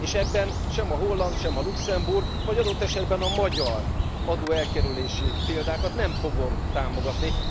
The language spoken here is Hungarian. És ebben sem a holland, sem a luxemburgi vagy adott esetben a magyar adóelkerülési példákat nem fogom támogatni.